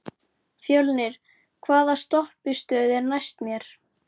Fjölnir, hvaða stoppistöð er næst mér?